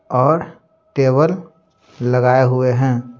और टेबल लगाए हुए हैं।